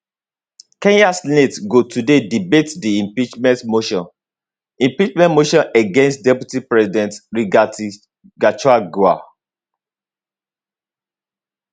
kenya senate go today debate di impeachment motion impeachment motion against deputy president rigathi gachagua